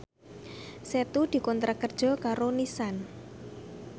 Setu dikontrak kerja karo Nissan